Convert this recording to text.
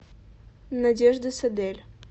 надежда садель